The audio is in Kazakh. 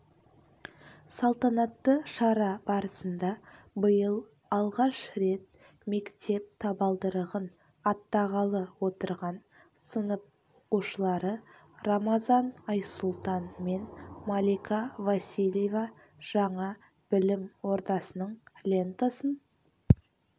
салтанатты шара барысында биыл алғаш рет мектеп табалдырығын аттағалы отырған сынып оқушылары рамазан айсұлтан мен малика василеьева жаңа білім ордасының лентасын